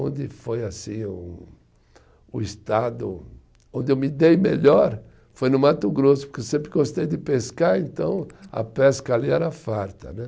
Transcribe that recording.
Onde foi assim um, um estado onde eu me dei melhor foi no Mato Grosso, porque eu sempre gostei de pescar, então a pesca ali era farta, né